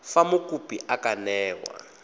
fa mokopi a ka newa